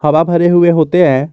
हवा भरे हुए होते हैं।